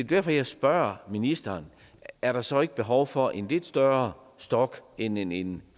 derfor at jeg spørger ministeren er der så ikke behov for en lidt større stok end en en